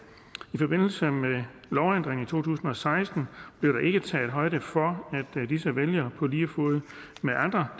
i forbindelse med lovændringen tusind og seksten blev der ikke taget højde for at disse vælgere på lige fod med andre